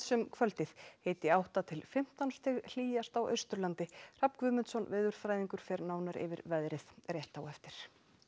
um kvöldið hiti átta til fimmtán stig hlýjast á Austurlandi Hrafn Guðmundsson veðurfræðingur fer nánar yfir veðrið rétt á eftir